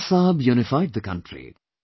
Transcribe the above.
Sardar Saheb unified the country